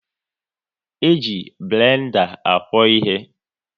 E ji blenda akwo ịhe